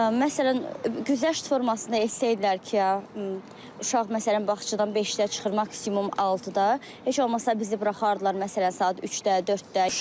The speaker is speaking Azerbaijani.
Məsələn, güzəşt formasında etsəydilər ki, uşaq məsələn bağçadan 5-də çıxır maksimum 6-da, heç olmasa bizi buraxardılar məsələn saat 3-də, 4-də.